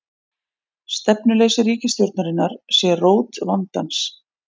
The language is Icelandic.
Stefnuleysi ríkisstjórnarinnar sé rót vandans